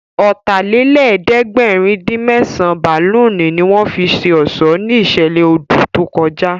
Ọ̀tàlélẹ̀ẹ́dẹ́gbẹ̀rin-dín-mẹ́sàn bálùnì ní wọ́n fi ṣe ọ̀ṣọ́ ní ìṣẹ̀lẹ̀ odù tó kọjá